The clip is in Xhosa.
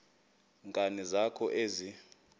nkani zakho ezi